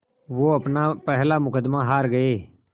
वो अपना पहला मुक़दमा हार गए